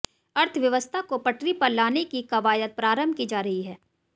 अर्थव्यवस्था को पटरी पर लाने की कवायद प्रारंभ की जा रही है